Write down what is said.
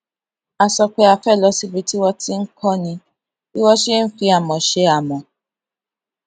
a sọ pé a fé lọ síbi tí wón ti ń kóni bí wón ṣe ń fi amò ṣe amò